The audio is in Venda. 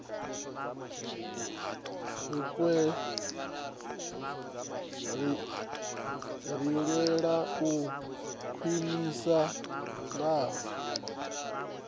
ri lwela u khwinifhala ha